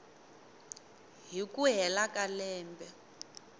hi ku hela ka lembe